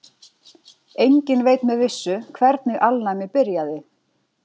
Enginn veit með vissu hvernig alnæmi byrjaði.